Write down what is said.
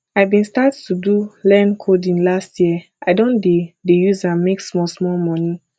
i bin start to do learn coding last year i don dey dey use am make small small moni